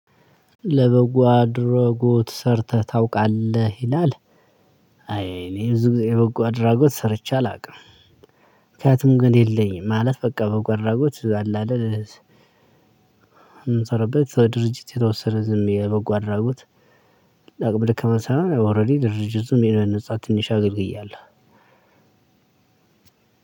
ለበጎ አድራጎት ሰርተህ ታውቃለህ ይላል? አይ እኔ ብዙ ጊዜ በጎ አድራጎት ሰርቼ አላውቅም። ምክንያቱም ግን የለኝም ማለት በቃ በጎ አድራጎት አለ አይደል። የምንሰራበት ድርጅት የተወሰነ ዝም የበጎ አድራጎት። አቅመ ደካማ ሳሆን ኦሬዲ ድርጅቱን የነፃ ትንሽ አገልግያለሁ።